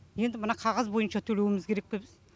енді мына қағаз бойынша төлеуіміз керек пе